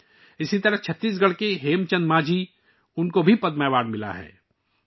اسی طرح اس بار چھتیس گڑھ کے ہیم چند مانجھی کو بھی پدم ایوارڈ سے نوازا گیا ہے